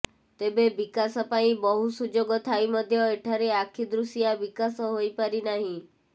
ତେବେ ବିକାଶ ପାଇଁ ବହୁ ସୁଯୋଗ ଥାଇ ମଧ୍ୟ ଏଠାରେ ଆଖିଦୃଶିଆ ବିକାଶ ହୋଇପାରିନାହିଁ